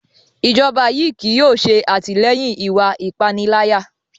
Ijọba yii kii yóò ṣe atilẹyin iwạ ipanilaya